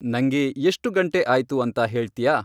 ನಂಗೆ ಎಷ್ಟು ಗಂಟೆ ಆಯ್ತು ಅಂತ ಹೇಳ್ತ್ಯಾ